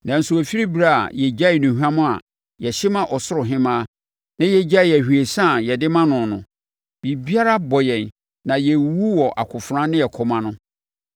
Nanso ɛfiri ɛberɛ a yɛgyaee nnuhwam a yɛhye ma Ɔsoro Hemmaa, na yɛgyaee ahwiesa a yɛde ma no no, biribiara abɔ yɛn na yɛrewuwu wɔ akofena ne ɛkɔm ano.”